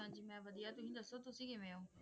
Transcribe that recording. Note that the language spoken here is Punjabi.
ਬਸ ਮੈਂ ਵਧੀਆ ਤੁਸੀ ਦੱਸੋ ਤੁਸੀ ਕਿਵੇਂ ਹੋ